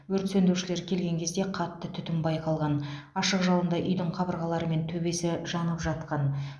өрт сөндірушілер келген кезде қатты түтін байқалған ашық жалында үйдің қабырғалары мен төбесі жанып жатқан